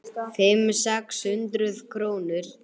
Fimm, sex hundruð krónur?